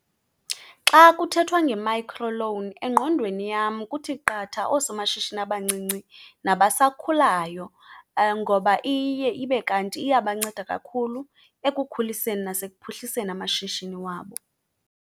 Xa kuthethwa nge-microloan, engqondweni yam kuthi qatha oosomashishini abancinci nabasakhulayo ngoba iye ibe kanti iyabanceda kakhulu ekukhuliseni nasekuphuhliseni amashishini wabo.